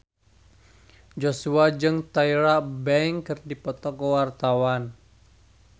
Joshua jeung Tyra Banks keur dipoto ku wartawan